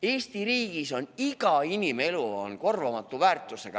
Eesti riigis on iga inimelu korvamatu väärtusega.